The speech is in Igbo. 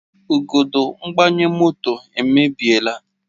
Igodo mgbanye moto emebiela